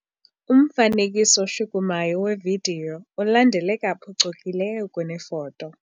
Umfanekiso oshukumayo wevidiyo ulandeleka phucukileyo kunefoto.